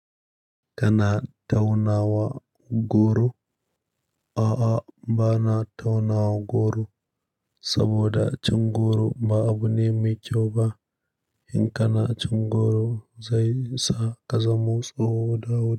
Kana taunawa goro? A'a, bana tauna goro saboda cin goro ba abu ne mai kyau ba. In kana cin goro zai sa ka zamo tsoho da wuri.